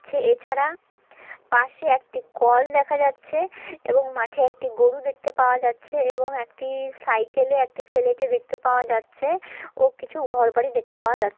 ছে । এছাড়া পাশে একটি কল দেখা যাচ্ছে এবং মাঠে একটি গরু দেখতে পাওয়া যাচ্ছে এবং একটি সাইকেল -এ একটি ছেলেকে দেখতে পাওয়া যাচ্ছে ও কিছু ঘরবাড়ি দেখতে পাওয়া যা--